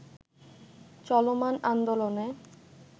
চলমান আন্দোলনে